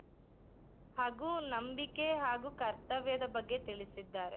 ಹಾಗೂ ನಂಬಿಕೆ ಹಾಗೂ ಕರ್ತವ್ಯದ ಬಗ್ಗೆ ತಿಳಿಸಿದ್ದಾರೆ.